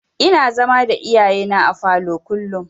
Ina zama da iyayena a falo kullum.